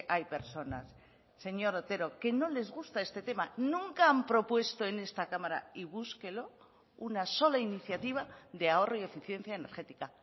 hay personas señor otero que no les gusta este tema nunca han propuesto en esta cámara y búsquelo una sola iniciativa de ahorro y eficiencia energética